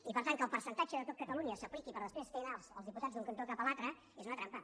i per tant que el percentatge de tot catalunya s’apliqui per després fer anar els diputats d’un cantó cap a l’altre és una trampa